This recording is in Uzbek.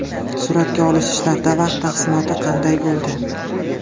Suratga olish ishlarida vaqt taqsimoti qanday bo‘ldi?